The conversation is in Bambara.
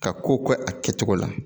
Ka ko kɛ a kɛcogo la